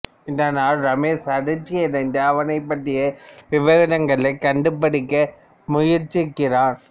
இதனால் ரமேஷ் அதிர்ச்சியடைந்து அவளைப் பற்றிய விவரங்களைக் கண்டுபிடிக்க முயற்சிக்கிறான்